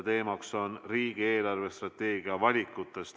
Teemaks on riigi eelarvestrateegia valikud.